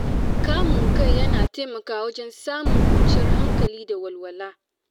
Kamun kai yana taimakawa wajen samun kwanciyar hankali da walwala.